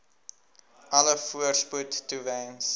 alle voorspoed toewens